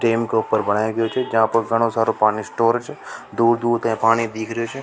Dam के ऊपर बनाए गए थे जहां पर घणा सारा पानी स्टोर छ दूर दूर से पानी दीख रहो छ।